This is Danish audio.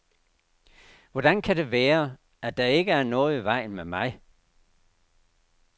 Hvordan kan det være, at der ikke er noget i vejen med mig?